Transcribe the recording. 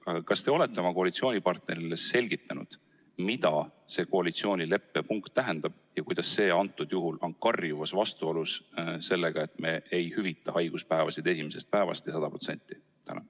Aga kas te olete oma koalitsioonipartnerile selgitanud, mida see koalitsioonileppe punkt tähendab ja kuidas see on karjuvas vastuolus sellega, et me ei hüvita haiguspäevi esimesest päevast ja 100%?